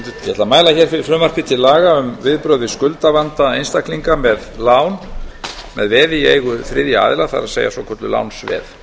að mæla hér fyrir frumvarpi til laga um viðbrögð við skuldavanda einstaklinga með lán með veði í eigu þriðja aðila það er svokölluð lánsveð